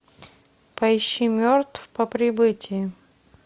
поищи мертв по прибытии